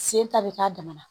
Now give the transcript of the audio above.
Sen ta bɛ k'a damana